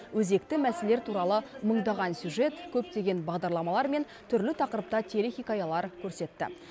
өзекті мәселелер туралы мыңдаған сюжет көптеген бағдарламалар мен түрлі тақырыпта телехикаялар көрсетті